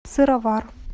сыровар